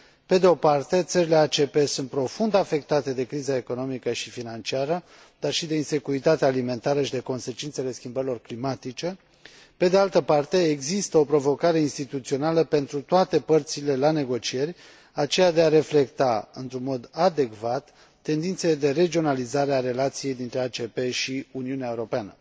Pe de o parte, țările ACP sunt profund afectate de criza economică și financiară, dar și de insecuritatea alimentară și de consecințele schimbărilor climatice, pe de altă parte, există o provocare instituțională pentru toate părțile la negocieri, aceea de a reflecta într un mod adecvat tendințele de regionalizare a relației dintre ACP și Uniunea Europeană.